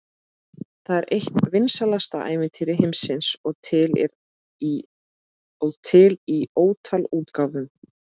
Það er eitt vinsælasta ævintýri heimsins og til í ótal útgáfum.